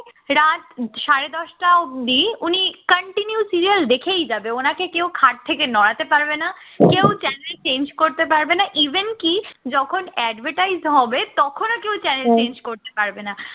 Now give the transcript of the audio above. রাত সাড়ে দশটা অব্দি উনি continue serial দেখেই যাবে উনাকে কেউ খাট থেকে নড়াতে পারবেনা কেউ channel change করতে পারবেনা even কি যখন advertise হবে তখনও কেউ channel change করতে পারবে না